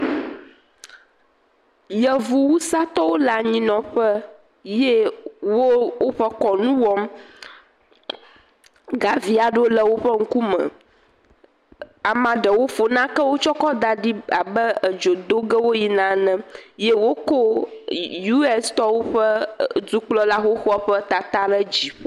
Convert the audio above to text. Yevu wusatɔwo le anyi nɔƒe ye woƒe kɔnu wɔm. Gavi aɖe le wòƒe ŋkume. Amea ɖewo fɔ nake tsɔ da ɖi abe edzo do ge wo yina ene ye wokɔ US ƒe dukplɔla ƒe tata ɖe asi.